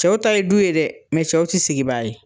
Cɛw ta ye du ye dɛ cɛw ti sigibaa ye.